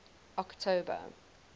october